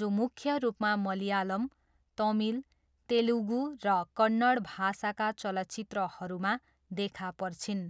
जो मुख्य रूपमा मलयालम, तमिल, तेलुगु र कन्नड भाषाका चलचित्रहरूमा देखा पर्छिन्।